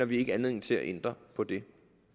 vi ikke anledning til at ændre på det